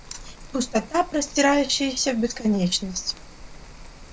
пустота простирающаяся в бесконечность